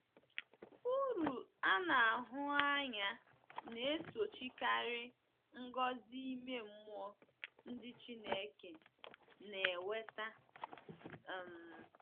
Uru a na-ahụ anya na - esochikarị ngọzi ime mmụọ ndị Chineke na - enweta um.